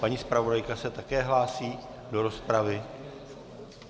Paní zpravodajka se také hlásí do rozpravy?